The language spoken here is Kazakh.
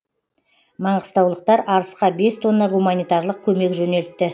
маңғыстаулықтар арысқа бес тонна гуманитарлық көмек жөнелтті